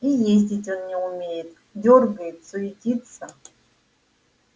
и ездить он не умеет дёргает суетится